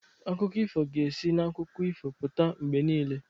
Akụkọ ifo ga-esi n'akụkọ ifo pụta mgbe niile.